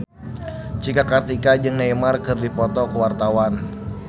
Cika Kartika jeung Neymar keur dipoto ku wartawan